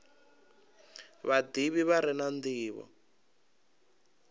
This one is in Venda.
vhadivhi vha re na ndivho